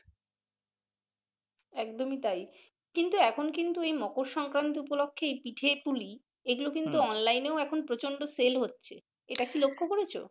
একদমই তাই কিন্তু এখন কিন্তু মকর সংক্রান্তি উপলক্ষে পিঠে পুলি এগুলো কিন্তু অনলাইনে ও এখন প্রচন্ড sell হচ্ছে এইটা কি লক্ষ করেছো।